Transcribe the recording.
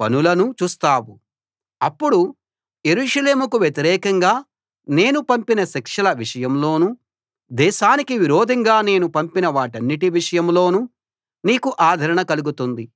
పనులనూ చూస్తావు అప్పుడు యెరూషలేముకు వ్యతిరేకంగా నేను పంపిన శిక్షల విషయంలోనూ దేశానికి విరోధంగా నేను పంపిన వాటన్నిటి విషయంలోనూ నీకు ఆదరణ కలుగుతుంది